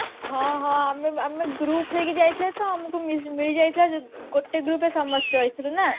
ହଁ ହଁ ଆମେ ଆମେ group ହେଇକି ଯାଇଥିଲେ ତ ଆମକୁ ମି ମିଳିଯାଇଥିଲା ଗୋଟେ group ରେ ସମସ୍ତେ ରହିଥିଲୁ ନା